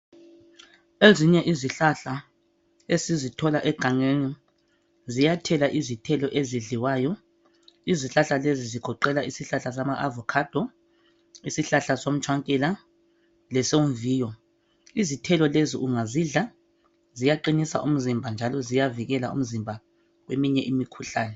ezinye izihlahla esizithola egangeni ziyathela izithelo ezidliwayo izihlahla lezi zigoqela isihlahla sama avocado ishlahla somtshwankela ishlahla somviyo izithelo lezi ungazidla ziyaqinisa umzimba njalo ziyavikela umzimba kweminye imkhuhlane